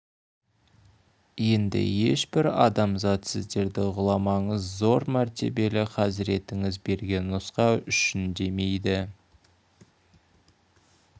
енді ешбір адамзат сіздерді ғұламаңыз зор мәртебелі хазіретіңіз берген нұсқа үшін демейді